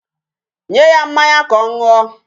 Nye ya mmanya ka ọ ṅụọ.